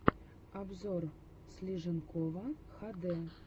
обзор слиженкова хд